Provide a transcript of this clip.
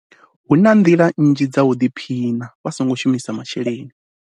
Hu na nḓila nnzhi dza u ḓiphina vha songo shumisa masheleni.